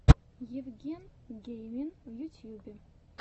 евген геймин в ютьюбе